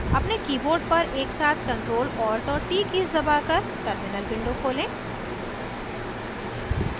अपने keyboard पर एक साथ ctrl alt और t दबाकर terminal window खोलें